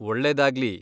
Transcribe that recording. ಒಳ್ಳೇದಾಗ್ಲಿ!